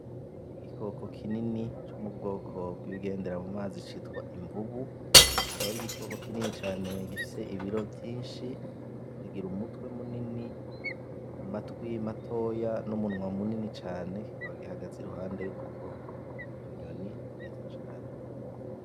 Igikoko kinini co mu bwoko bw’ibigendera mu mazi citwa imvubu, akaba ari igikoko kinini cane gifise ibiro vyinshi, kikagira umutwe munini, amatwi matoya n’umunwa munini cane kikaba gihagaze iruhande y’udukoko tw’utunyoni twiza cane.